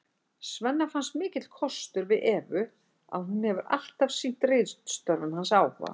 Svenna finnst það mikill kostur við Evu að hún hefur alltaf sýnt ritstörfum hans áhuga.